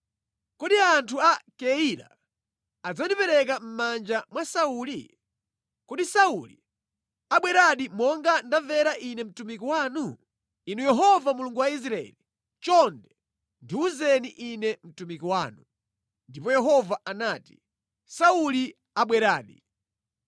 Kodi anthu a Keila adzandipereka mʼmanja mwa Sauli? Kodi Sauli abweradi monga ndamvera ine mtumiki wanu? Inu Yehova Mulungu wa Israeli, chonde, ndiwuzeni ine mtumiki wanu.” Ndipo Yehova anati, “Sauli abweradi.”